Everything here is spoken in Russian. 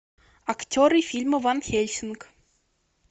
актеры фильма ван хельсинг